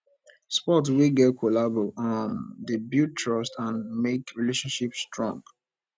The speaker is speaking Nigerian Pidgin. sport wey get collabo um dey build trust and make relationship strong